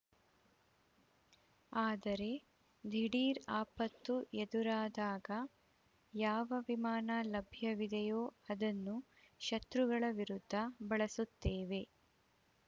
ಆದರೆ ದಿಢೀರ್‌ ಆಪತ್ತು ಎದುರಾದಾಗ ಯಾವ ವಿಮಾನ ಲಭ್ಯವಿದೆಯೋ ಅದನ್ನು ಶತ್ರುಗಳ ವಿರುದ್ಧ ಬಳಸುತ್ತೇವೆ